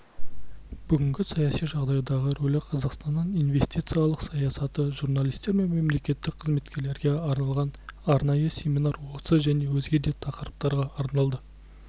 бүгінгі саяси жағдайдағы рөлі қазақстанның инвестициялық саясаты журналистер мен мемлекеттік қызметкерлерге арналған арнайы семинар осы және өзге де тақырыптарға арналды